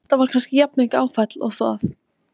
Þetta var kannski jafnmikið áfall og það.